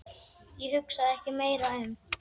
Ég hugsaði ekki meira um